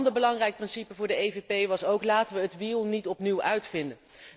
Een ander belangrijk principe voor de EVP was ook laten we het wiel niet opnieuw uitvinden.